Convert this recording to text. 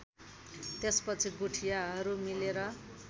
त्यसपछि गुठीयारहरू मिलेर